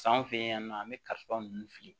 San fen yan nɔ an bɛ kalifa ninnu fili